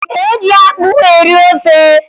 E ji akpụ eri ofe